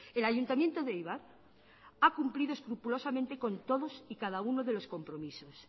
el ayuntamiento de eibar ha cumplido escrupulosamente con todos y cada uno de los compromisos